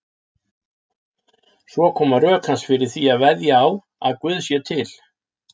Svo koma rök hans fyrir því að veðja á að Guð sé til.